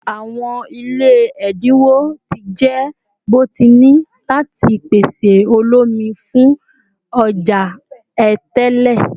Awọn ile ẹdinwo ti jẹ bọtini lati pese oloomi fun ọja Atẹle